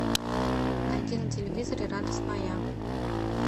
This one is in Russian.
найди на телевизоре радость моя